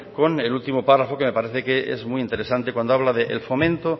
con el último párrafo que me parece que es muy interesante cuando habla del fomento